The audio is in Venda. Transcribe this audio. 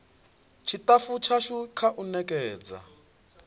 tshitafu tshashu kha u nekedza